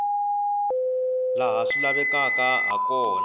laha swi lavekaka ha kona